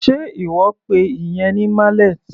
Sé ìwọ pe ìyẹn ní mallet?